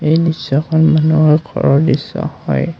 এই দৃশ্যখন মানুহৰ ঘৰৰ দৃশ্য হয়।